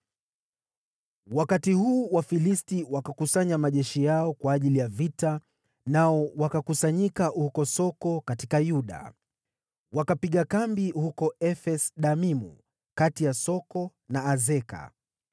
Wakati huu Wafilisti wakakusanya majeshi yao kwa ajili ya vita, nao wakakusanyika huko Soko katika Yuda. Wakapiga kambi huko Efes-Damimu, kati ya Soko na Azeka.